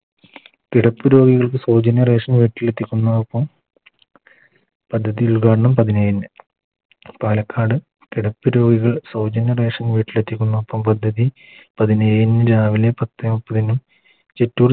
കിടപ്പുരോഗികൾക്ക് സൗജന്യ Ration വീട്ടിലെത്തിക്കുന്നതോടൊപ്പം പദ്ധതി ഉദ്‌ഘാടനം പതിനേഴിന് പാലക്കാട് കിടപ്പ് രോഗികൾ സൗജന്യ Ration പ പദ്ധതി പതിനേഴിന് രാവിലെ പത്തേ മുപ്പതിന്